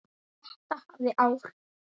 Þetta hafði áhrif.